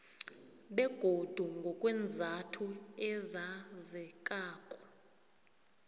begodu ngokweenzathu ezazekako